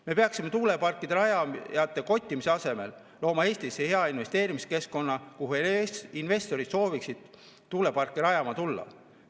Me peaksime tuuleparkide rajamise kottimise asemel looma Eestis hea investeerimiskeskkonna, kuhu investorid sooviksid tuuleparke rajama tulla.